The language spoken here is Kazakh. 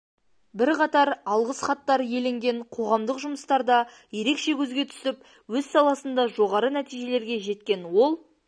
бірқатар алғыс хаттар иеленген қоғамдық жұмыстарда ерекше көзге түсіп өз саласында жоғары нәтижелерге жеткен ол